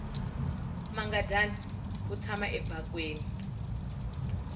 mangadyani wu tshama ebakweni